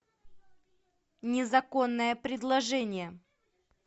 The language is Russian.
незаконное предложение